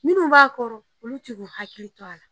Munnu b'a kɔrɔ olu ti k'u hakili to a la.